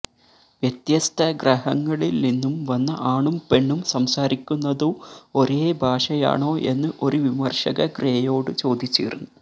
വ്യത്യസ്ത ഗ്രഹങ്ങളില്നിന്നും വന്ന ആണും പെണ്ണും സംസാരിക്കുന്നതു ഒരേ ഭാഷയാണോ എന്ന് ഒരു വിമര്ശക ഗ്രേയോടു ചോദിച്ചിരുന്നു